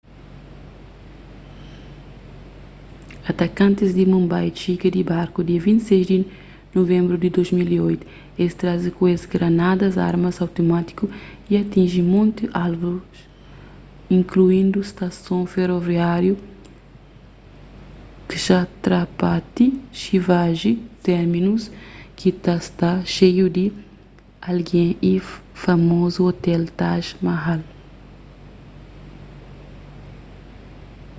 atakantis di mumbai txiga di barku dia 26 di nuvenbru di 2008 es traze ku es granadas armas automátiku y atinji monti alvus inkluindu stason feroviáriu chhatrapati shivaji terminus ki ta sta xeiu di algen y famozu otel taj mahal